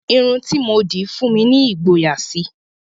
Irun tí mo dì tún fún mi ní ìgboyà síi